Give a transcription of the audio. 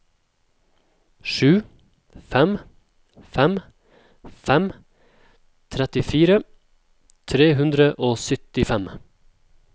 sju fem fem fem trettifire tre hundre og syttifem